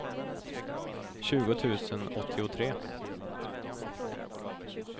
tjugo tusen åttiotre